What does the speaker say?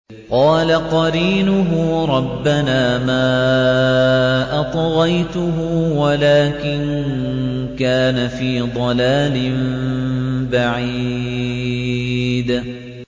۞ قَالَ قَرِينُهُ رَبَّنَا مَا أَطْغَيْتُهُ وَلَٰكِن كَانَ فِي ضَلَالٍ بَعِيدٍ